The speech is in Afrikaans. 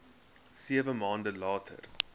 sewe maande later